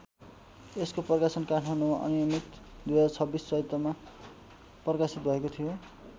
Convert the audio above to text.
यसको प्रकाशन काठमाडौँमा अनियमित २०२६ चैत्रमा प्रकाशित भएको थियो।